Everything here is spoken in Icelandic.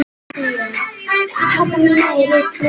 En hvað gerist.